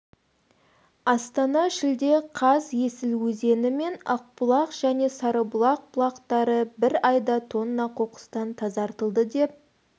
астана шілде қаз есіл өзені мен ақбұлақ және сарыбұлақ бұлақтары бір айда тонна қоқыстан тазартылды деп